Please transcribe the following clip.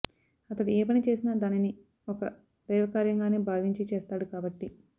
అతడు ఏ పని చేసినా దానిని ఒక దైవకార్యంగానే భావించి చేస్తాడు కాబట్టి